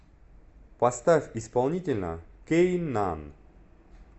поставь исполнителя кейнан